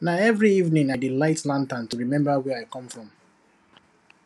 na for every evening i dey light lantern to remember where i come from